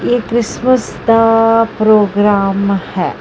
ਇਹ ਕ੍ਰਿਸਮਸ ਦਾ ਪ੍ਰੋਗਰਾਮ ਹੈ।